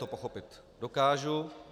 To pochopit dokážu.